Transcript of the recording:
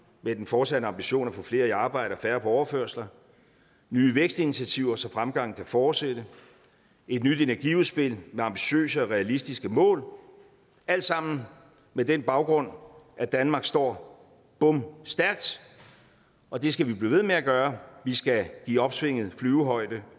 med den fortsatte ambition at få flere i arbejde og færre på overførsler nye vækstinitiativer så fremgangen kan fortsætte et nyt energiudspil med ambitiøse og realistiske mål alt sammen med den baggrund at danmark står bomstærkt og det skal vi blive ved med at gøre vi skal give opsvinget flyvehøjde